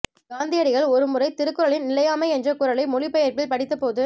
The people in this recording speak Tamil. காந்தியடிகள் ஒரு முறை திருக்குறளின் நிலையாமை என்ற குறளை மொழிபெயர்ப்பில் படித்தபோது